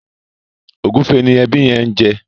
ògúfe ni ẹbi yen ń jẹ